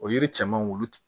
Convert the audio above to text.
O yiri cɛmanw olu